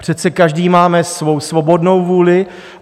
Přece každý máme svou svobodnou vůli.